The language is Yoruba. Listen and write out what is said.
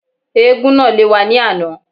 Éégún náà lé wa ní àná